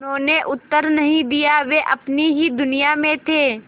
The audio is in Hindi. उन्होंने उत्तर नहीं दिया वे अपनी ही दुनिया में थे